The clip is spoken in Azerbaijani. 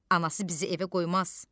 Anası bizi evə qoymaz.